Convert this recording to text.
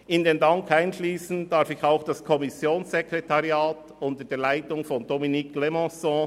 In den Dank schliesse ich auch das Kommissionssekretariat unter der Leitung von Dominique Clémençon ein.